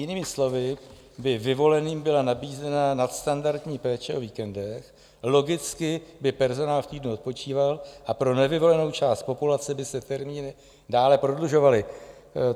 Jinými slovy by vyvoleným byla nabízena nadstandardní péče o víkendech, logicky by personál v týdnu odpočíval a pro nevyvolenou část populace by se termíny dále prodlužovaly.